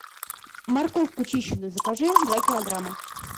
морковку чищенную закажи два килограмма